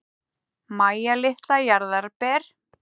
Mæja litla jarðarber.